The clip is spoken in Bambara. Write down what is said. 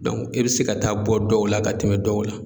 Dɔnku e be se ka taa bɔ dɔw la ka tɛmɛ dɔw la